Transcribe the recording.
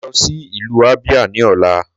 Màá lọ sí ìlú Abia ní ọ̀la